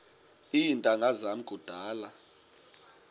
iintanga zam kudala